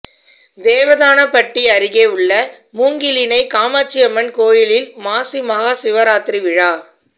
தேவதானப்பட்டி அருகே உள்ள மூங்கிலணை காமாட்சியம்மன் கோயிலில் மாசி மகாசிவராத்திரி விழா